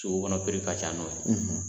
Sugu kɔnɔ ka ca n'o ye